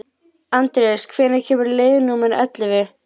Anders, hvenær kemur leið númer ellefu?